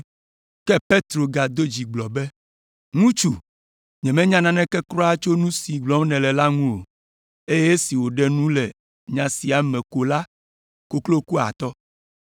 Ke Petro gado dzi gblɔ be, “Ŋutsu, nyemenya naneke kura tso nu si gblɔm nèle la ŋu o.” Eye esi wòɖe nu le nya siawo me ko la, koklo ku atɔ.